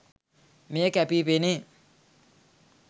මෙය කැපී පෙනේ